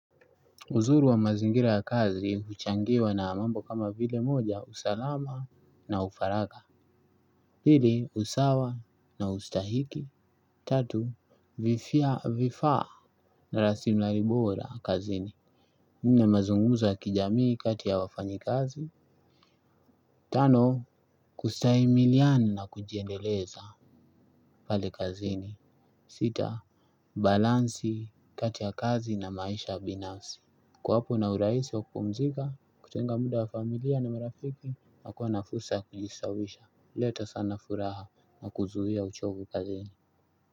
Uzuri wa mazingira ya kazi, huchangiwa na mambo kama vile moja, usalama na ufaragha. Pili, usawa na ustahiki. Tatu, vifaa na raslimali bora kazini. Nne mazungumzo ya kijamii kati ya wafanyi kazi. Tano, kustahimiliana na kujiendeleza pale kazini. Sita, balansi kati ya kazi na maisha binafsi. Kuwapo na urahisi wa kupumzika, kutenga muda wa familia na marafiki, na kuwa na fursa ya kujistawisha, huleta sana furaha na kuzuia uchovu kazini.